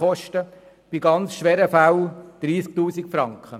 In ganz schweren Fällen sind es 30 000 Franken.